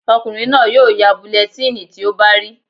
Ọkùnrin náà yóò ya bulẹtíìnì tí ó bá rí